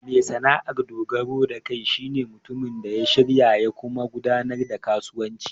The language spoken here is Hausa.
Mai sana'ar dogaro da kai shi ne mutumin da shirya ya kuma gudanar da kasuwanci.